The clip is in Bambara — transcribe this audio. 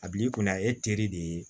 A bi kɔni a ye teri de ye